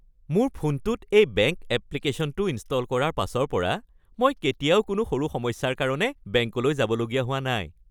মোৰ ফোনটোত এই বেংক এপ্লিকেশ্যনটো ইনষ্টল কৰাৰ পাছৰ পৰা মই কেতিয়াও কোনো সৰু সমস্যাৰ কাৰণে বেংকলৈ যাবলগীয়া হোৱা নাই।